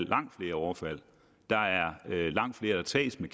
langt flere overfald der er langt flere der tages med